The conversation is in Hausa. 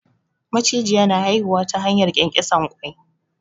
Macijiya na haihuwa ta hanyar ƙyanƙyasan ƙwai.